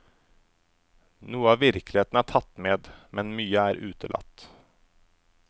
Noe av virkeligheten er tatt med, men mye er utelatt.